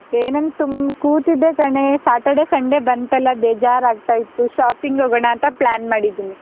ಏನಂತೂ ಹ್ಮ್ ಕೂತಿದ್ದೆ ಕಣೇ, Saturday, Sunday ಬಂತಲ್ಲಾ ಬೇಜಾರಾಗ್ತಾ ಇತ್ತು shopping ಹೋಗೋಣಂತ plan ಮಾಡಿದ್ದೀನಿ.